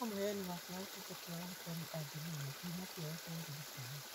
No mũheani waku wa ũtungata wa ũrigitani angĩmenya kĩhumo kĩega kĩa ũrigitani